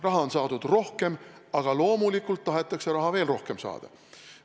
Raha on saadud rohkem, aga loomulikult tahetakse raha veel rohkem saada.